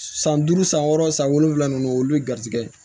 San duuru san wɔɔrɔ san wolonfila ninnu olu bɛ garijɛgɛ ye